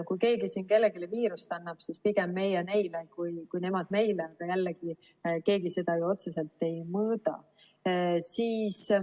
Kui keegi siin kellelegi viirust annab, siis pigem meie neile kui nemad meile – jällegi, keegi seda ju otseselt ei mõõda.